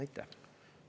Aitäh!